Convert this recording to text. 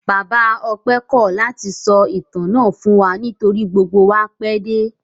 Bàbá Ọpẹ́ kọ́ ọ̀ láti sọ ìtàn náà fún wa nítorí gbogbo wa pẹ́ dé.